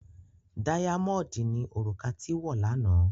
Dáyámọ̀ọ̀dì ni òrùka tí wọ̀ lánàá.